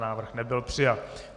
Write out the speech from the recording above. Návrh nebyl přijat.